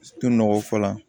To nɔgɔ fɔlɔ la